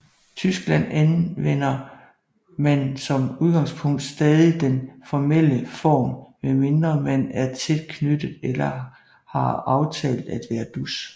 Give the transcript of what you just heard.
Tyskland anvender man som udgangspunkt stadig den formelle form medmindre man er tæt knyttet eller har aftalt at være dus